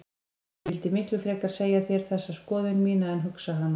Ég vildi miklu frekar segja þér þessa skoðun mína en hugsa hana.